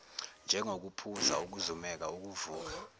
njengokuphuza ukuzumeka ukuvuka